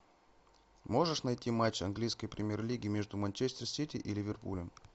можешь найти матч английской премьер лиги между манчестер сити и ливерпулем